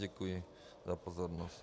Děkuji za pozornost.